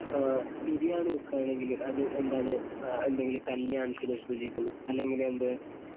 ആഹ് ബിരിയാണി വെക്കുവാണെങ്കില് അത് എന്താണ് ആ എന്തെങ്കിലും കല്യാണത്തിന് സൂചിപ്പിക്കുന്നു അല്ലെങ്കില് എന്ത്